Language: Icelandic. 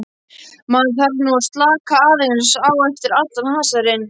Maður þarf nú að slaka aðeins á eftir allan hasarinn.